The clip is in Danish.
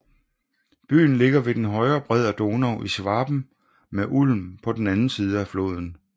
Byen ligger ved den højre bred af Donau i Schwaben med Ulm på den anden side af floden